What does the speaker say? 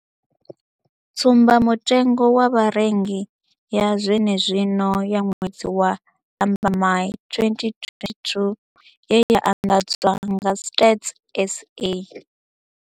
Tsumbamutengo wa Vharengi ya zwenezwino ya ṅwedzi wa Lambamai 2022 ye ya anḓadzwa nga Stats SA.